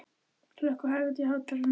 Hlökk, hækkaðu í hátalaranum.